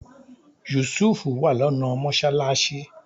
Yusuf wà lọ́nà mọ́sálásí